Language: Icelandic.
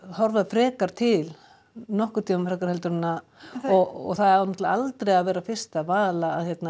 horfa frekar til nokkurn tímann frekar en að og það á náttúrulega aldrei að vera fyrsta val